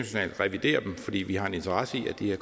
skal revidere dem fordi vi har en interesse i at de her